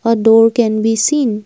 A door can be seen.